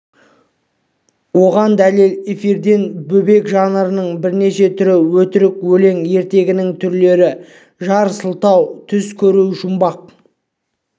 оған дәлел эфирден бөбек жырының бірнеше түрі өтірік өлең ертегінің түрлері жар салу түс көру жұмбақ